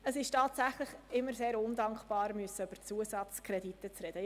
Es ist tatsächlich immer sehr undankbar, über Zusatzkredite diskutieren zu müssen.